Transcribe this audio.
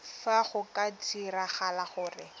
fa go ka diragala gore